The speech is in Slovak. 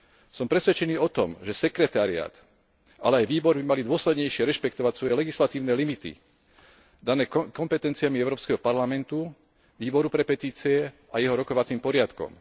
Som presvedčený o tom, že sekretariát ale aj výbory by mali dôslednejšie rešpektovať svoje legislatívne limity dané kompetenciami Európskeho parlamentu, Výboru pre petície a jeho rokovacím poriadkom.